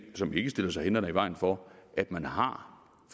som ikke stiller sig hindrende i vejen for at man har